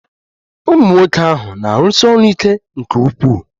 Ụmunwoke ahụ na-arụsi ọrụ ike nke ukwuu.